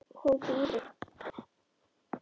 Hún bíður!